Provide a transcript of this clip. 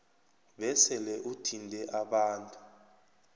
besele uthinte abantu